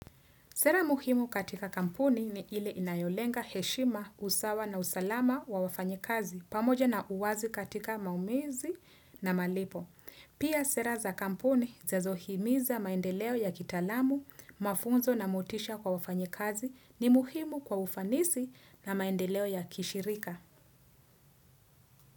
Sera muhimu katika kampuni ni ile inayolenga heshima, usawa na usalama wa wafanyikazi pamoja na uwazi katika maumizi na malipo. Pia sera za kampuni zinazohimiza maendeleo ya kitalamu, mafunzo na motisha kwa wafanyikazi ni muhimu kwa ufanisi na maendeleo ya kishirika.